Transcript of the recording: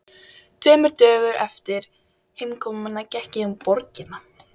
Tveimur dögum eftir heimkomuna gekk ég um borgina.